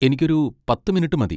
എനിക്കൊരു പത്ത് മിനുട്ട് മതി.